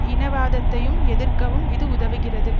இனவாதத்தையும் எதிர்க்கவும் இது உதவுகிறது